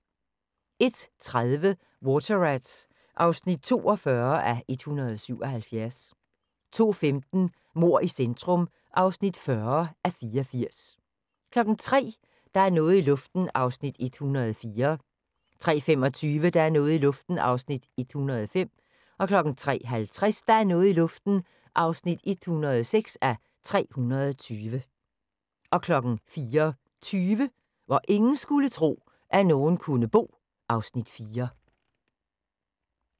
01:30: Water Rats (42:177) 02:15: Mord i centrum (40:84) 03:00: Der er noget i luften (104:320) 03:25: Der er noget i luften (105:320) 03:50: Der er noget i luften (106:320) 04:20: Hvor ingen skulle tro, at nogen kunne bo (Afs. 4)